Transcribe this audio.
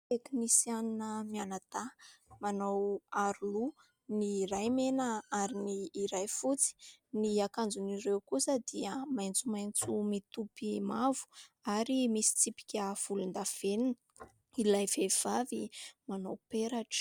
Tekinisianina mianadahy manao aro loha ; ny iray mena ary ny iray fotsy ; ny akanjon'ireo kosa dia maitsomaitso mitopy mavo ary misy tsipika volondavenona. Ilay vehivavy manao peratra.